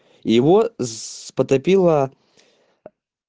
его сс потопила